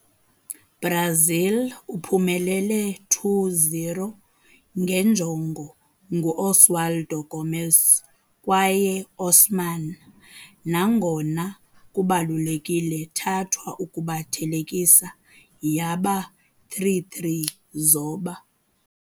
- Brazil uphumelele 2-0 nge njongo ngu-Oswaldo Gomes kwaye Osman, nangona kubalulekile thathwa ukuba thelekisa yaba 3-3 zoba.